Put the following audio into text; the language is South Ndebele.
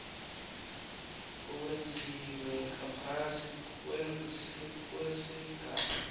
owenziwe ngaphasi kwesigaba